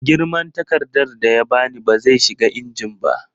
Girman takardar da ya ba ni ba zai shiga injin ba